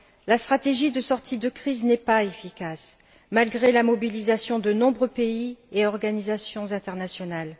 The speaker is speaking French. La stratégie de sortie de crise n'est pas efficace, malgré la mobilisation de nombreux pays et organisations internationales.